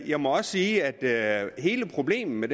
jeg må også sige at hele problemet med